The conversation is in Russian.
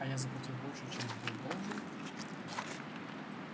а я заплатил больше чем был должен